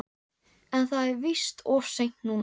En það er víst of seint núna.